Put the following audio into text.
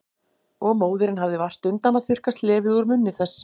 Og móðirin hafði vart undan að þurrka slefið úr munni þess.